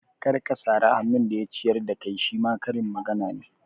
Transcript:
Kar ka sari hannun da ya ciyar da kai shima karin magana ne